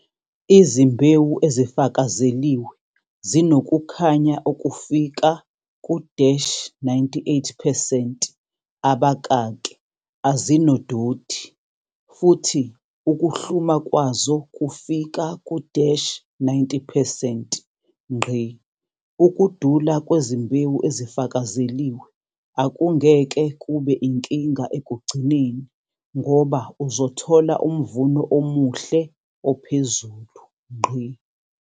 Izimbewu ezifakazeliwe zinokukhanya okufika ku-98 percent, azinododi, futhi ukuhluma kwazo kufika ku-90 percent. Ukudula kwezimbewu ezifakazeliwe akungeke kube inkinga ekugcineni ngoba uzothola umvuno omuhle ophezulu.